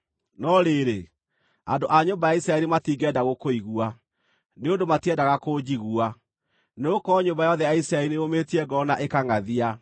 No rĩrĩ, andũ a nyũmba ya Isiraeli matingĩenda gũkũigua, nĩ ũndũ matiendaga kũnjigua, nĩgũkorwo nyũmba yothe ya Isiraeli nĩyũmĩtie ngoro na ĩkangʼathia.